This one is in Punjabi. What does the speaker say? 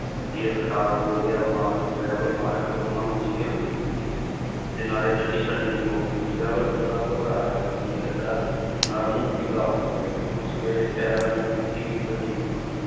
ਤੇਲ ਖ਼ਰਾਬ ਹੋ ਗਿਆ ਮਾਲਕ driver ਮਾਲਕ ਦੋਹਾਂ ਨੂੰ ਜ਼ੇਲ੍ਹ ਹੋ ਜਾਊਗੀ, ਤੇ ਨਾਲੇ ਗੱਡੀ ਛੱਡਣੀ ਪਊਗੀ driver ਪੂਰਾ ਘਬਰਾਇਆ ਹੋਇਆ ਸੀਗਾ, ਡਰ ਨਾਲ ਮੂੰਹ ਪੀਲਾ ਹੋ ਗਿਆ ਸੀ ਉਸ ਵੇਲੇ ਪੈਰਾਂ ਦੀ ਮਿੱਟੀ ਵੀ ਵੱਢੀ ਗਈ ਸੀ।